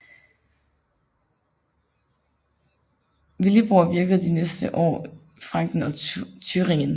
Willibrord virkede de næste år i Franken og Thüringen